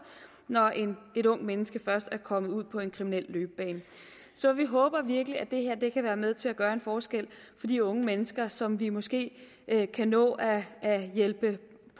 når et ungt menneske først er kommet ud på en kriminel løbebane så vi håber virkelig at det her kan være med til at gøre en forskel for de unge mennesker som vi måske kan nå at hjælpe